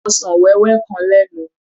Ọsàn wéwé kan lẹ́nu.